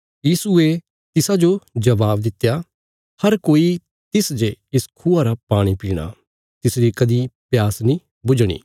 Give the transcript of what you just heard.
यीशुये तिसाजो जबाब दित्या हर कोई तिस जे इस खूआ रा पाणी पीणा तिसरी कदीं प्यास नीं बुझणी